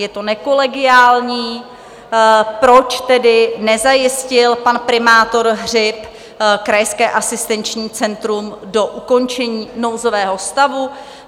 Je to nekolegiální, proč tedy nezajistil pan primátor Hřib krajské asistenční centrum do ukončení nouzového stavu?